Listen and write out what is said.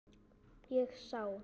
Ég sá